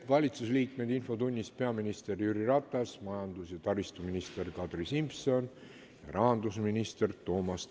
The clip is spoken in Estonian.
Valitsusliikmetest on infotunnis peaminister Jüri Ratas, majandus- ja taristuminister Kadri Simson ning rahandusminister Toomas Tõniste.